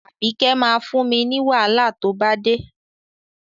Àbíkẹ́ máa fún mi wàhálà tó bá dé.